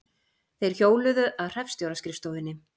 Þeir hjóluðu að hreppstjóra-skrifstofunni.